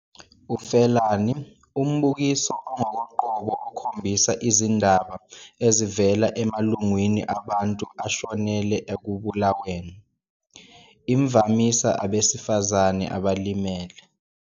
Ufelani - umbukiso ongokoqobo okhombisa izindaba ezivela emalungwini abantu ashonele ekubulaweni, imvamisa abesifazane abalimele.